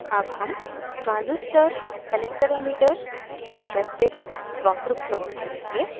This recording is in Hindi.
अब हम transistor ce collector emitter characteristic वक्र plot करेंगे